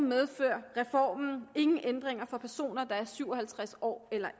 medfører reformen ingen ændringer for personer der er syv og halvtreds år eller